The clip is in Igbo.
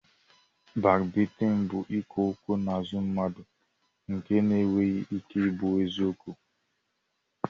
Bakbaitịn bụ ikwu okwu n'azụ mmadụ nke na-enweghị ike ị bụ eziokwu